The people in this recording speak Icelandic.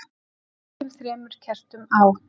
við kveikjum þremur kertum á